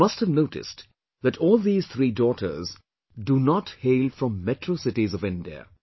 You must have noticed that all these three daughters do not hail from metro cities of India